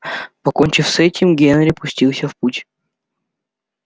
покончив с этим генри пустился в путь